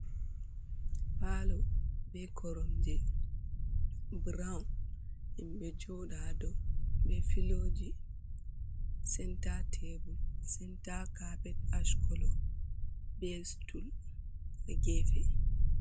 Palo be korom je brawn himɓe joda ha, be filoji senta tebul senta capet ashcolo be stul ha gefe.